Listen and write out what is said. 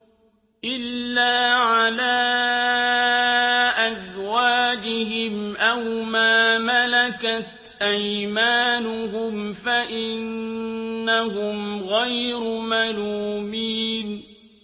إِلَّا عَلَىٰ أَزْوَاجِهِمْ أَوْ مَا مَلَكَتْ أَيْمَانُهُمْ فَإِنَّهُمْ غَيْرُ مَلُومِينَ